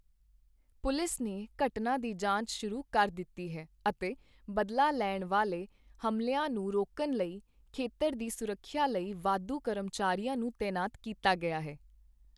Police ਨੇ ਘਟਨਾ ਦੀ ਜਾਂਚ ਸ਼ੁਰੂ ਕਰ ਦਿੱਤੀ ਹੈ ਅਤੇ ਬਦਲਾ ਲੈਣ ਵਾਲੇ ਹਮਲਿਆਂ ਨੂੰ ਰੋਕਣ ਲਈ ਖੇਤਰ ਦੀ ਸੁਰੱਖਿਆ ਲਈ ਵਾਧੂ ਕਰਮਚਾਰੀਆਂ ਨੂੰ ਤੈਨਾਤ ਕੀਤਾ ਗਿਆ ਹੈ।